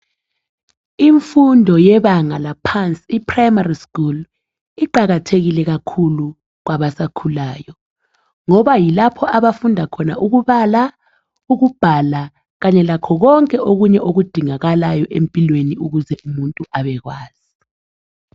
Imfundo yebanga laphansi iprimary school iqakathekile kakhulu kwabasakhulayo ngoba yilapho abafunda khona ukubala ,ukubhala kanye lakho kwonke okudingakalayo empilweni ukuze umuntu abekwazi